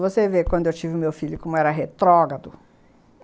Você vê, quando eu tive meu filho, como era retrógrado.